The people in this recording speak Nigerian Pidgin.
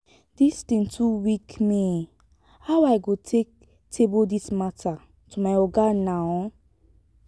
dis thing too weak me how i go take table dis matter to my oga now?